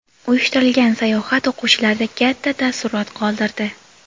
Uyushtirilgan sayohat o‘quvchilarda katta taassurot qoldirdi.